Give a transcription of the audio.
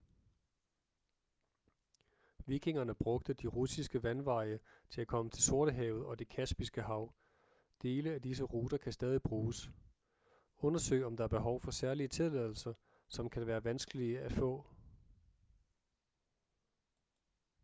vikingerne brugte de russiske vandveje til at komme til sortehavet og det kaspiske hav dele af disse ruter kan stadig bruges undersøg om der er behov for særlige tilladelser som kan være vanskelige at få